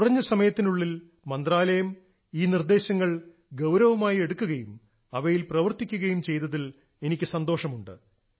കുറഞ്ഞ സമയത്തിനുള്ളിൽ മന്ത്രാലയം ഈ നിർദ്ദേശങ്ങൾ ഗൌരവമായി എടുക്കുകയും അവയിൽ പ്രവർത്തിക്കുകയും ചെയ്തതിൽ എനിക്ക് സന്തോഷമുണ്ട്